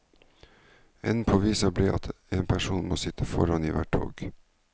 Enden på visa ble at en person må sitte foran i hvert tog.